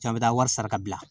Cɛ a bɛ taa wari sara ka bila